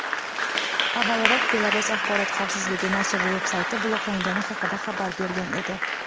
Avvalroq Belarus Axborot vazirligi nashr veb-sayti bloklangani haqida xabar bergan edi.